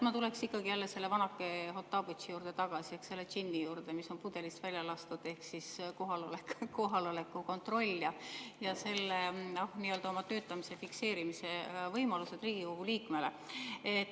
Ma tuleks ikkagi selle vanake Hottabõtši juurde tagasi, selle džinni juurde, mis on pudelist välja lastud, ehk kohaloleku kontrolli ja Riigikogu liikme töötamise fikseerimise võimaluste juurde.